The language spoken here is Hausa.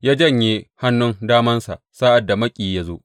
Ya janye hannun damansa sa’ad da maƙiyi ya zo.